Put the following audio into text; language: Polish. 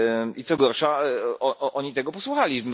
I co gorsza, oni tego posłuchali.